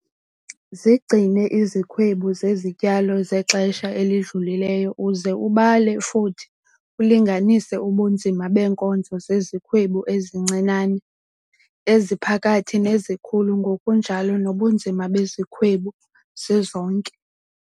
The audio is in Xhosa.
Zigcine izikhwebu zezityalo zexesha elidlulileyo uze ubale futhi ulinganise ubunzima beenkozo zezikhwebu ezincinane, eziphakathi nezikhulu ngokunjalo nobunzima bezikhwebu zizonke.